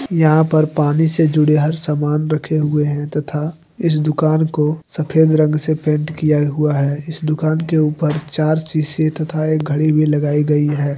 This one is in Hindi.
यहां पर पानी से जुड़े हर सामान रखे हुए हैं तथा इस दुकान को सफेद रंग से पेंट किया हुआ हैइस दुकान के ऊपर चार शीशे तथा एक घड़ी भी लगाई गई है।